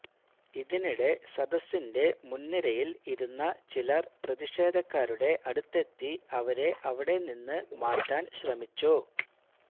ഇതിനിടെ സദസിന്റെ മുൻനിരയിൽ ഇരുന്ന ചിലർ പ്രതിഷേധക്കാരുടെ അടുത്തെത്തി അവരെ അവിടെ നിന്ന് മാറ്റാൻ ശ്രമിച്ചു